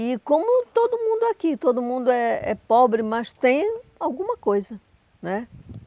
E como todo mundo aqui, todo mundo é é pobre, mas tem alguma coisa né.